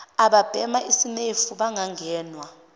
ababhema isinemfu bangangenwa